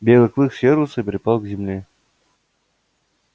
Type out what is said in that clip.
белый клык съёжился и припал к земле